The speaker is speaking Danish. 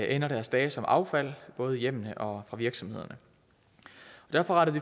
endte deres dage som affald både i hjemmene og fra virksomhederne derfor rettede